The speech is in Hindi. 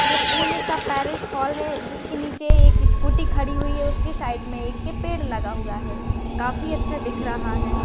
ये पुणे का पेरिस हॉल है जिस के नीचे एक स्कूटी खड़ी हुई है उसके साइड मे एक पेड़ लगा हुवा है काफी अच्छा दिख रहा है।